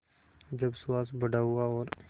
जब सुहास बड़ा हुआ और